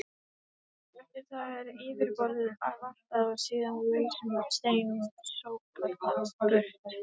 Eftir það er yfirborðið valtað og síðan lausum steinum sópað burt.